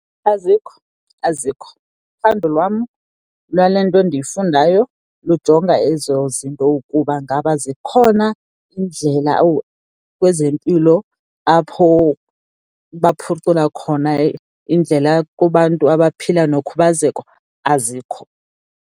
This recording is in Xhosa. Azikho, azikho. Uphando lwam lwale nto endiyifundayo lujonga ezo zinto ukuba ngaba zikhona iindlela kwezempilo apho baphucula khona indlela kubantu abaphila nokhubazeko. Azikho.